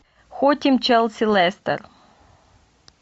хотим челси лестер